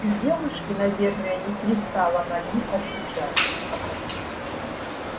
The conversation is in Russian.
и девушке наверное не пристало на них отвечать